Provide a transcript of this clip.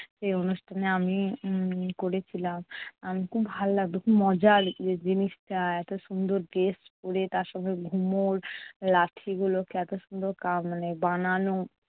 সেই অনুষ্ঠানে আমি উম করে ছিলাম খুব ভালো লাগতো। খুব মজার জিনিসটা এত সুন্দর dress পরে তার সাথে ঘুমুর লাঠি গুলোকে এত সুন্দর কা মানে বানানো।